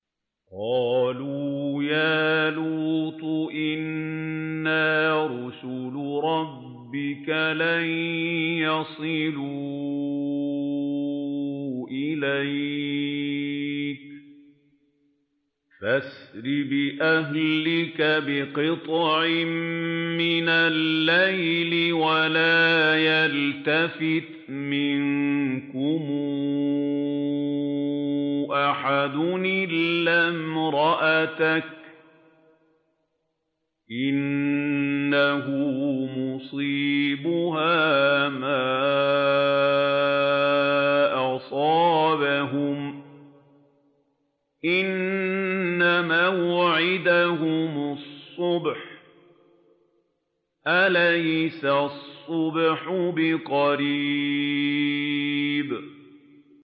قَالُوا يَا لُوطُ إِنَّا رُسُلُ رَبِّكَ لَن يَصِلُوا إِلَيْكَ ۖ فَأَسْرِ بِأَهْلِكَ بِقِطْعٍ مِّنَ اللَّيْلِ وَلَا يَلْتَفِتْ مِنكُمْ أَحَدٌ إِلَّا امْرَأَتَكَ ۖ إِنَّهُ مُصِيبُهَا مَا أَصَابَهُمْ ۚ إِنَّ مَوْعِدَهُمُ الصُّبْحُ ۚ أَلَيْسَ الصُّبْحُ بِقَرِيبٍ